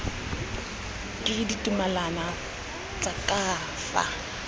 ke ditumalano tsa ka fa